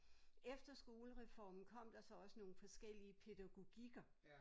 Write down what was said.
Efter skolereformen kom der så også nogle forskellige pædagogikker